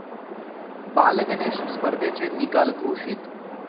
बालगणेश' स्पर्धेचे निकाल घोषित